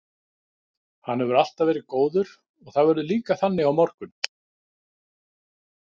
Hann hefur alltaf verið góður og það verður líka þannig á morgun.